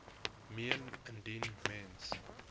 meen indien mens